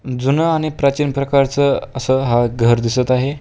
जुनं आणि प्राचीन प्रकारचं असं हा घर दिसत आहे.